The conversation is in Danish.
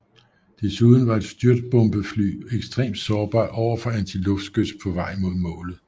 Desuden var et styrtbombefly ekstremt sårbar overfor antiluftskyts på vej mod målet